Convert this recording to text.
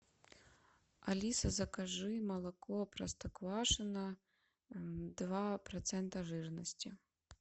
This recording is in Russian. алиса закажи молоко простоквашино два процента жирности